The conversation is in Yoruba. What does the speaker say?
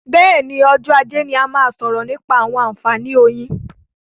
Bẹ́ẹ̀ni, ọjọ́ ajé ni a máa sọ̀rọ̀ nípa àǹfààní oyin.